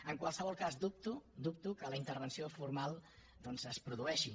en qualsevol cas dubto dubto que la intervenció formal doncs es produeixi